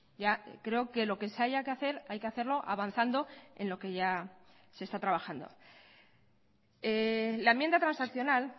ya creo que lo que se haya que hacer hay que hacerlo avanzando en lo que ya se está trabajando la enmienda transaccional